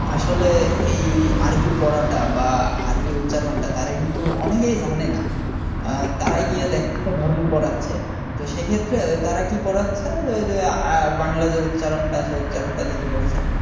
আসলে এই আরবি পড়াটা বা আরবি উচ্চারণটা তারা কিন্তু অনেকেই জানে না আহ তারাই গিয়ে এক একটা ধর্ম করাচ্ছে সেক্ষেত্রে ওই তারা কি পড়াচ্ছে যে ওই যে আ বাংলা যে উচ্চারণটা আছে উচ্চারণটা দেখে পড়াচ্ছে